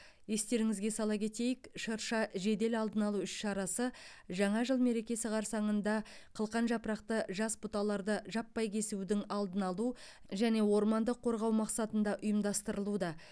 естеріңізге сала кетейік шырша жедел алдын алу іс шарасы жаңа жыл мерекесі қарсаңында қылқан жапырақты жас бұталарды жаппай кесудің алдын алу және орманды қорғау мақсатында ұйымдастырылуда